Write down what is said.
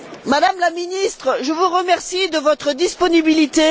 Madame la Ministre, je vous remercie de votre disponibilité.